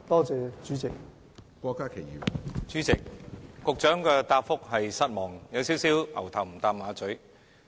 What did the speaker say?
主席，局長的答覆"牛頭唔搭馬嘴"，我感到失望。